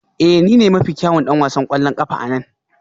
Ee ni ne mafi kyawun ɗan wasan ƙwallon ƙafa a nan